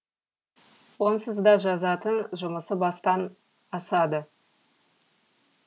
онсыз да жазатын жұмысы бастан асады